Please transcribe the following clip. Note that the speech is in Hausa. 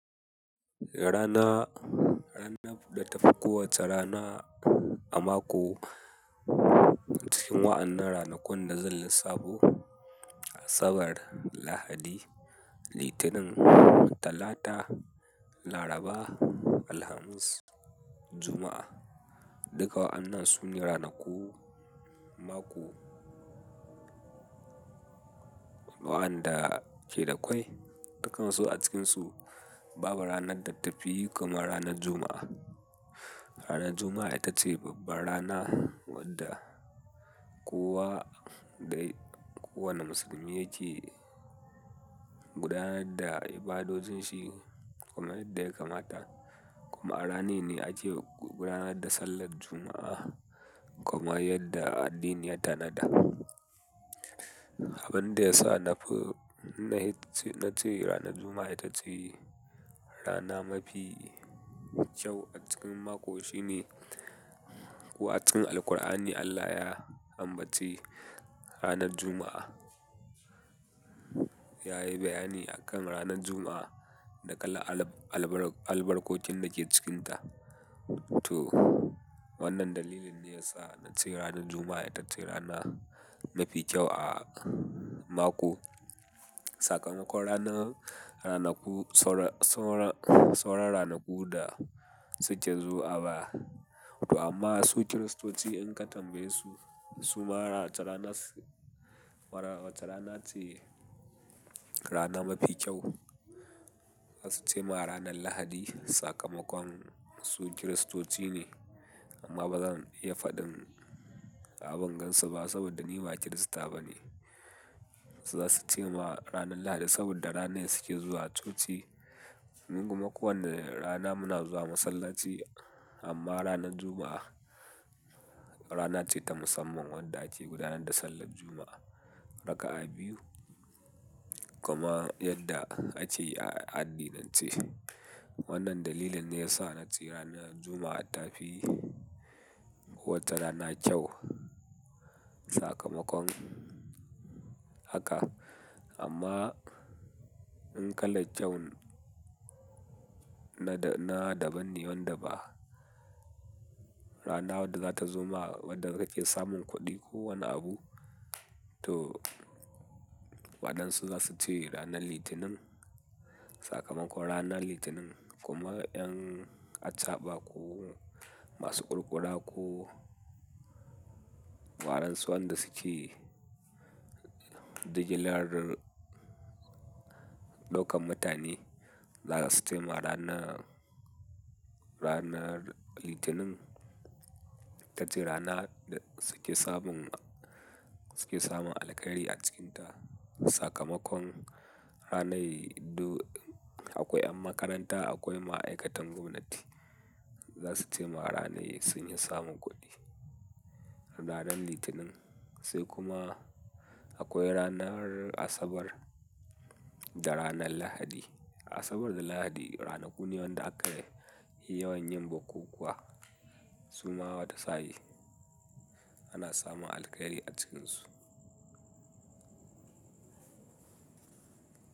Rana, rana da ta fi kowacce rana a mako cikin wa'annan ranakun da zan lissafo Asabar, Lahadi, Litinin, Talata, Laraba, Alhamis, Juma'a. Duka wa'annan su ne ranaku mako waɗanda ke da ƙwai. Dukkan su a cikinsu babu ranar da ta fi kamar ranar Juma'a. Ranar Juma'a ita ce babbar rana wadda kowa dai, kowane musulmi yake gudanar da ibadojin shi kuma yadda ya kamata. Kuma a rananne ake gudanar da Sallar Juma'a kuma yadda addini ya tanada. Abin da ya sa na fi, na ce ranar Juma'a ita ce rana mafi kyau a cikin mako shine ko acikin Alqur'ani Allah ya ambaci ranar Juma'a. Ya yi bayani akan ranar Juma'a da kalan albarkokin da ke cikinta. To wannan dalilin ne ya sa na ce ranar Juma'a ita ce rana mafi kyau a mako. Saƙamakon ranar, ranaku, sauran ranaku da suke zuwa ba. To amma su Kiristoci in ka tambaye su, su ma wace rana su, wace rana ce rana mafi kyau. Za su ce ma ranar Lahadi sakamakon su Kiristoci ne amma ba zan iya faɗin abin gansu ba saboda ni ba Kirista bane. Za su ce ma ranar Lahadi saboda ranar suke zuwa coci. Mu kuma ko wane rana muna zuwa masallaci amma ranar Juma'a rana ce ta musamman wadda ake gudanar da Sallar Juma'a raka'a biyu kuma yadda ake yi a addinance. Wannan dalilin ne ya sa na ce ranar Juma'a ita fi kowace rana kyau sakamakon haka. Amma in ka laccau na daban ne wanda ba rana wadda zata zo ma wadda kake samun kuɗi ko wani abu. To waɗansu za su ce ranar Litinin sakamakon ranar Litinin kuma in yan a ca'ba ko masu ƙurƙura ko waɗansu wanda suke jigilar ɗaukan mutane za su ce ma rana, ranar Litinin ita ce rana da suke samun, suke samun alkari a cikinta sakamakon ranar do akwai ƴan makaranta, akwai ma'aikatan gwamnati. Za su ce ma ranar sun yi samun kuɗi ranar Litinin. Sai kuma akwai ranar Asabar da ranar Lahadi. Asabar da Lahadi ranaku ne wanda aka yi yawayin bukukkuwa su ma wata sa'in ana samun alkari a cikinsu.